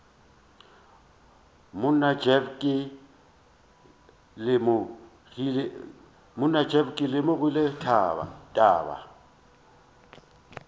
monna jeff ke lemogile taba